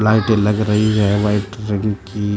लाइटें लग रही है वाइट रंग की।